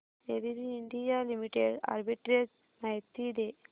ABB India limited arbitrage माहिती दे